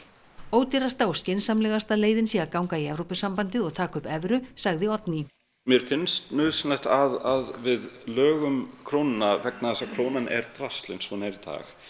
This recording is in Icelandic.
ódýrasta og skynsamlegasta leiðin sé að ganga í Evrópusambandið og taka upp evru segir Oddný mér finnst nauðsynlegt að við lögum krónuna vegna þess að krónan er drasl eins og hún er í dag